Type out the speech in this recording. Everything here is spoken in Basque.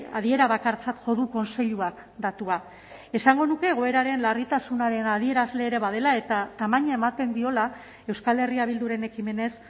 adierabakartzat jo du kontseiluak datua esango nuke egoeraren larritasunaren adierazle ere badela eta tamaina ematen diola euskal herria bilduren ekimenez